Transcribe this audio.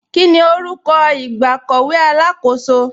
Kíni orúkọ ìgbàkọ̀wé alákọ̀sò?